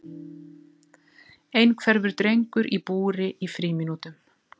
Einhverfur drengur í búri í frímínútum